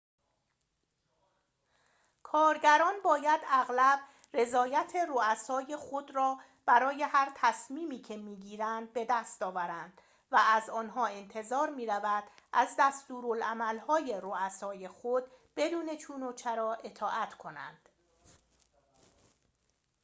کارگران باید اغلب رضایت رؤسای خود را برای هر تصمیمی که می‌گیرند بدست آورند و از آنها انتظار می‌رود از دستورالعمل‌های رؤسای خود بدون چون و چرا اطاعت کنند